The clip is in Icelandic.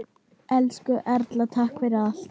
Elsku Erla, takk fyrir allt.